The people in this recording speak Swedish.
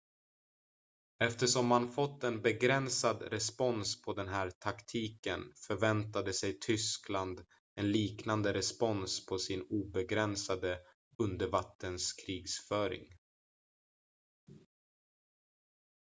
eftersom man fått en begränsad respons på den här taktiken förväntade sig tyskland en liknande respons på sin obegränsade undervattenskrigföring